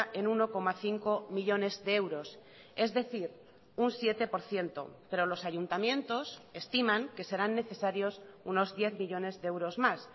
en uno coma cinco millónes de euros es decir un siete por ciento pero los ayuntamientos estiman que serán necesarios unos diez millónes de euros más